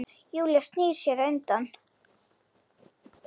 Júlía snýr sér undan.